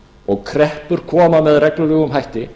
og kreppur koma með reglulegum hætti